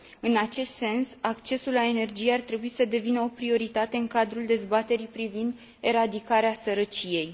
În acest sens, accesul la energie ar trebui să devină o prioritate în cadrul dezbaterii privind eradicarea sărăciei.